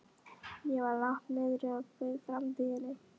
Ég var langt niðri og kveið framtíðinni.